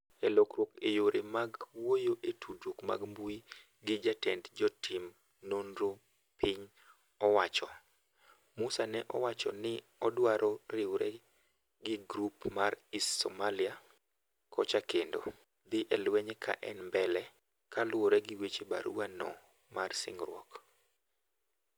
E lokruok e yore mag wuoyo e tudruok mar mbui gi Jatend jotim nonromag piny owacho, Musa nowacho ni ne odwaro riwre gi grup mar IS Somalia kocha kendo "dhi e lwenye ka en mbele" ka luwore gi weche barua no mar singruok